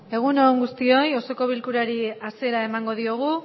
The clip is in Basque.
egun on guztioi osoko bilkurari hasiera emango diogu